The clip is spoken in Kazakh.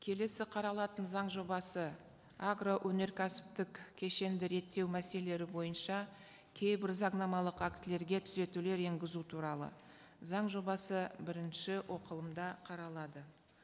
келесі қаралатын заң жобасы агроөнеркәсіптік кешенді реттеу мәселелері бойынша кейбір заңнамалық актілерге түзетулер енгізу туралы заң жобасы бірінші оқылымда қаралады